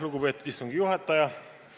Lugupeetud istungi juhataja!